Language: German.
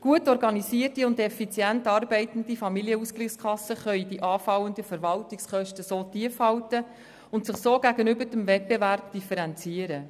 Gut organisierte und effizient arbeitende Familienausgleichskassen können anfallende Verwaltungskosten tief halten und sich so gegenüber Wettbewerbern differenzieren.